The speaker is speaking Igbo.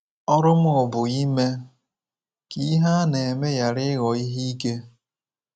Ọrụ m bụ ime ka ihe a na-eme ghara ịghọ ihe ike.